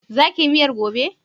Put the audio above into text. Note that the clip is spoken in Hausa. Za ki yi miyar gobe?